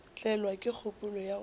tlelwa ke kgopolo ya gore